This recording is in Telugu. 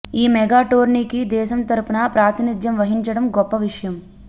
ఈ మెగా టోర్నీకి దేశం తరఫున ప్రాతినిధ్యం వహించడం గొప్ప విషయం